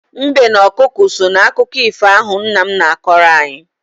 Mbe na ọkụkọ so n'akụkọ ifo ahụ nna m na-akọrọ anyị.